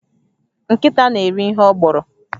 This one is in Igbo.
Nkịta na-eri ihe ọ gbọrọ